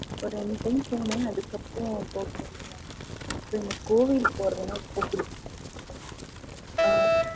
ஒரு ரெண்டு time போனேன் அதுக்கு அப்புறம் போகல எனக்கு கோயிலுக்கு போறதுன்னா ரெம்ப பிடிக்கும் ஆ